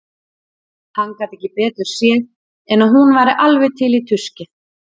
Hann gat ekki betur séð en að hún væri alveg til í tuskið.